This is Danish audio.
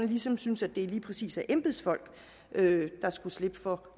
ligesom synes at det lige præcis er embedsfolkene der skal slippe for